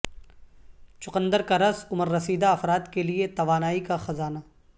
چقندر کا رس عمر رسیدہ افراد کے لیے توانائی کا خزانہ